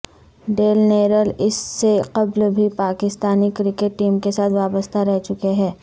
deal Naylor اس سے قبل بھی پاکستانی کرکٹ ٹیم کے ساتھ وابستہ رہ چکے ہیں